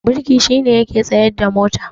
birki shi ne yake tsayarda mota